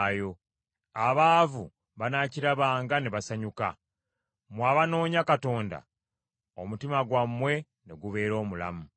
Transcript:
Abaavu banaakirabanga ne basanyuka; mmwe abanoonya Katonda omutima gwammwe ne gubeera omulamu.